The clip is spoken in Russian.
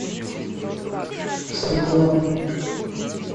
светланы